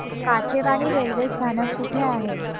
Kachewani railway स्थानक कुठे आहे